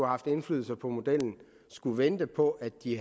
haft indflydelse på modellen skal vente på at de